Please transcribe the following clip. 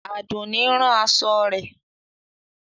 Adúnní ń rán aṣọ rẹ̀.